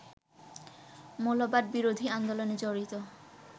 মৌলবাদ বিরোধী আন্দোলনে জড়িত